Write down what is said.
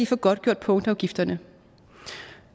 få godtgjort punktafgifterne